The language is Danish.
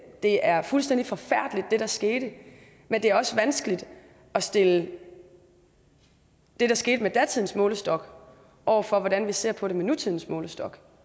det er fuldstændig forfærdeligt hvad der skete men det er også vanskeligt at stille det der skete med datidens målestok over for hvordan vi ser på det med nutidens målestok